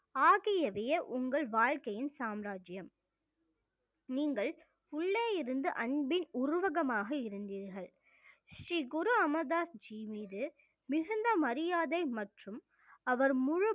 ஆகியவையே உங்கள் வாழ்க்கையின் சாம்ராஜ்யம் நீங்கள் உள்ளே இருந்து அன்பின் உருவகமாக இருந்தீர்கள் ஸ்ரீ குரு அமர்தாஸ்ஜி மீது மிகுந்த மரியாதை மற்றும் அவர் முழு